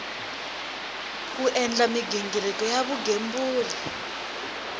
ku endla mighingiriko ya vugembuli